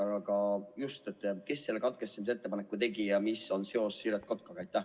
Aga kes selle katkestamise ettepaneku tegi ja milline on selle seos Siret Kotkaga?